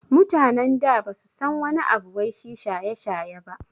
Mutanen da basu san wani abu wai shi shaye-shaye ba